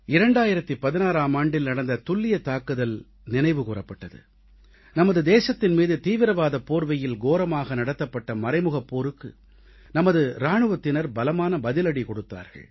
நாம் 2016ஆம் ஆண்டில் நடந்த துல்லியத் தாக்குதல் நினைவுகூரப்பட்டது நமது தேசத்தின் மீது தீவிரவாதப் போர்வையில் கோரமாக நடத்தப்பட்ட மறைமுகப் போருக்கு நமது இராணுவத்தினர் பலமான பதிலடி கொடுத்தார்கள்